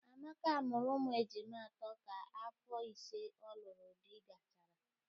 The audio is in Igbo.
Amaka mụrụ ụmụ ejima atọ ka afọ ise ọ lụrụ di gachara